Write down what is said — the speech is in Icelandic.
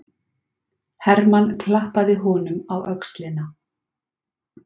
Hermann klappaði honum á öxlina.